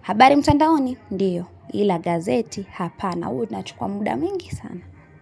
habari mtandaoni ndio ila gazeti hapana huwa inachukua muda mwingi sana.